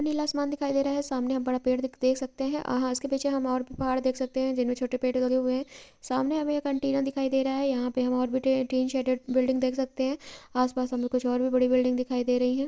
नीला आसमान दिखाई दे रहा है सामने आप बड़ा पेड़ देख सकते हैं| आहा उसके पीछे हम और भी पहाड़ देख सकते हैं जिनमें छोटे पेड़ लगे हुए हैं| सामने एक हमें एंटीना दिखाई दे रहा है| यहां पे हम और टी-टीन सेड बिल्डिंग देख सकते हैं आसपास में हमें कुछ और भी बड़ी बिल्डिंग दिखाई दे रही है ।